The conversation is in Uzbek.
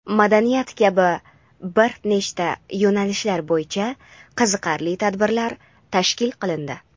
madaniyat kabi bir nechta yo‘nalishlar bo‘yicha qiziqarli tabirlar tashkil qilindi.